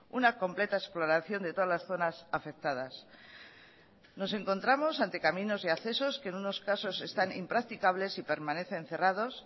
una completa exploración de todas las zonas afectadas nos encontramos ante caminos y accesos que en unos casos están impracticables y permanecen cerrados